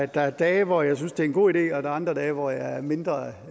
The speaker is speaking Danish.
der er dage hvor jeg synes det er en god idé og der er andre dage hvor jeg er mindre